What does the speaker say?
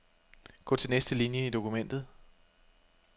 Gå til næste linie i dokumentet.